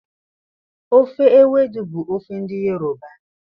Ofe ewedu bụ ofe ndị yoroba